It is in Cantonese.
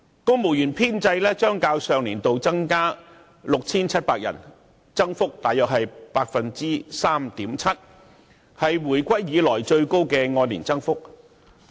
公務員編制將......較上年度增加 6,700 個，增幅約為 3.7%， 是回歸以來最高的按年增幅。